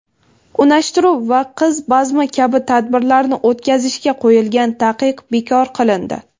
unashtiruv va qiz bazmi kabi tadbirlarni o‘tkazishga qo‘yilgan taqiq bekor qilindi.